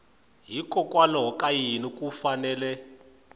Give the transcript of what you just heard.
hikokwalaho ka yini ku fanele